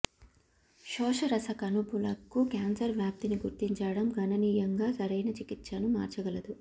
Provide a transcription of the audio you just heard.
శోషరస కణుపులకు క్యాన్సర్ వ్యాప్తిని గుర్తించడం గణనీయంగా సరైన చికిత్సను మార్చగలదు